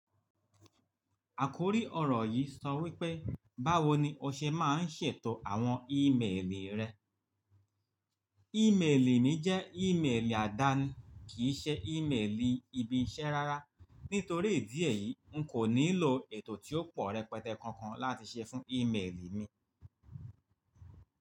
Àkórí ọ̀rọ̀ yìí sọ wípé, báwo ni o ṣe máa ń ṣètò àwọn ímeèlì rẹ? Ímeèlì mi jẹ́ ímeèlì àdáni, kì í ṣe ímeèlì ibi iṣẹ́ rárá. Nítorí ìdí èyí, n kò nílò ètò tí ó pọ̀ rẹpẹtẹ kankan láti ṣe fún ímeèlì mi.